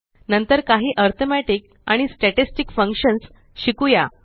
नंतर काही अरिथ्मेटिक आणि स्टॅटिस्टिक फंक्शन्स शिकुया